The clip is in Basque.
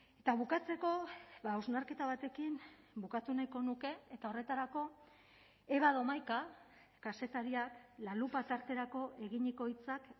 eta bukatzeko hausnarketa batekin bukatu nahiko nuke eta horretarako eva domaika kazetariak la lupa tarterako eginiko hitzak